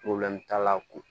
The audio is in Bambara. t'a la ko